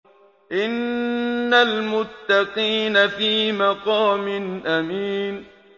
إِنَّ الْمُتَّقِينَ فِي مَقَامٍ أَمِينٍ